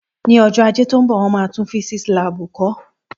Ní ọjọ́ Ajé tí ó ń bọ̀ wọn máa tún físíísì láàbù kọ̀ọ́